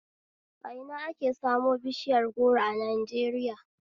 A ina ake samu bishiyar goro a Najeriya?